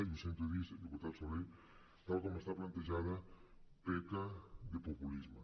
i sento dir ho diputat soler tal com està plantejada peca de populisme